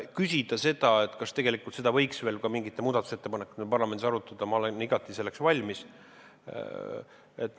Kui küsida, kas võiks seda veel mingite muudatusettepanekute abil parlamendis arutada, siis ma olen igati selleks valmis.